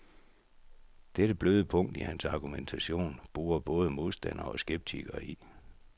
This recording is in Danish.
Dette bløde punkt i hans argumentation borer både modstandere og skeptikere i.